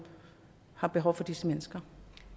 har behov for disse mennesker